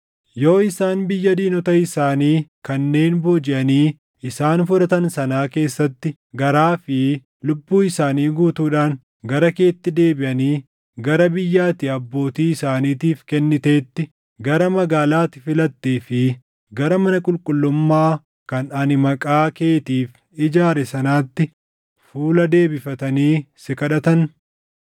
yoo isaan biyya diinota isaanii kanneen boojiʼanii isaan fudhatan sanaa keessatti garaa fi lubbuu isaanii guutuudhaan gara keetti deebiʼanii gara biyya ati abbootii isaaniitiif kenniteetti, gara magaalaa ati filattee fi gara mana qulqullummaa kan ani Maqaa keetiif ijaare sanaatti fuula deebifatanii si kadhatan,